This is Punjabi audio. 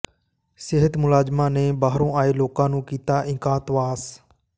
ਸਿਹਤ ਮੁਲਾਜ਼ਮਾਂ ਨੇ ਬਾਹਰੋਂ ਆਏ ਲੋਕਾਂ ਨੂੰ ਕੀਤਾ ਇਕਾਂਤਵਾਸ